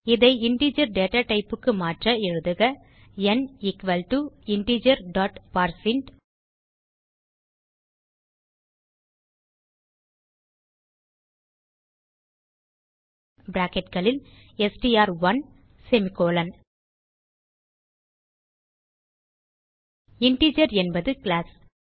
இதை இன்டிஜர் datatypeக்கு மாற்ற எழுதுக ந் equal to integer dot parseint bracketகளில் str1செமிகோலன் இன்டிஜர் என்பது கிளாஸ்